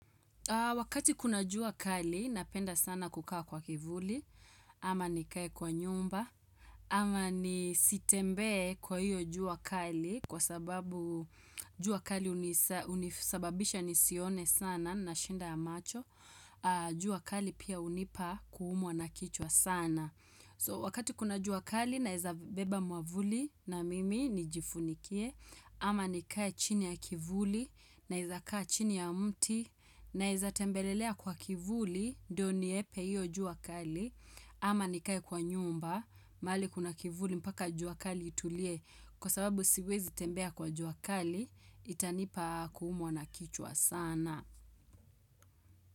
Wakati kuna jua kali, napenda sana kukaa kwa kivuli, ama nikae kwa nyumba, ama nisitembea kwa hiyo jua kali, kwa sababu jua kali unisababisha nisione sana na shida ya macho, jua kali pia hunipa kuumwa na kichwa sana. So wakati kuna juakali naweza beba mwavuli na mimi nijifunikie ama nikaye chini ya kivuli naweza kayla chini ya mti naweza tembelelea kwa kivuli ndio nihepe iyo jua kali ama nikae kwa nyumba mahali kuna kivuli mpaka jua kali itulie kwa sababu siwezi tembea kwa jua kali itanipa kuumwa na kichwa sana.